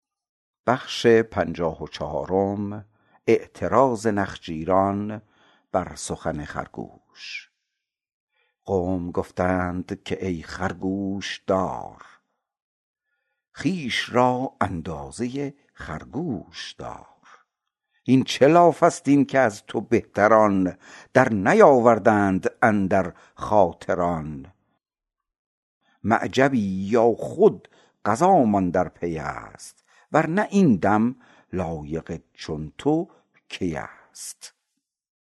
قوم گفتندش که ای خر گوش دار خویش را اندازه خرگوش دار هین چه لافست این که از تو بهتران در نیاوردند اندر خاطر آن معجبی یا خود قضامان در پیست ور نه این دم لایق چون تو کیست